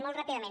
molt ràpidament